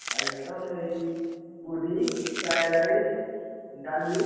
Item ଏଇ, puri, fried rice ଡାଲି,